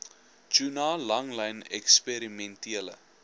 tuna langlyn eksperimentele